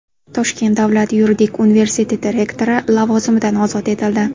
Toshkent davlat yuridik universiteti rektori lavozimidan ozod etildi.